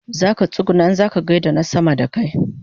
Zaka tsuguna in kaza gaida na sama da kai